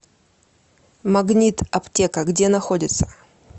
магнит аптека где находится